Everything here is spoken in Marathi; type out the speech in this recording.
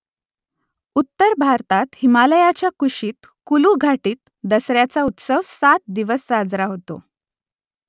उत्तर भारतात हिमालयाच्या कुशीत कुलू घाटीत दसऱ्याचा उत्सव सात दिवस साजरा होतो